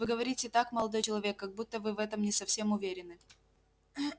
вы говорите так молодой человек как будто вы в этом не совсем уверены